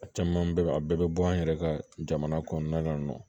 A caman bɛ a bɛɛ bɛ bɔ an yɛrɛ ka jamana kɔnɔna na yan nɔ